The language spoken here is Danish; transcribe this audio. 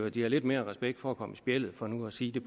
at de har lidt mere respekt for at komme i spjældet for nu at sige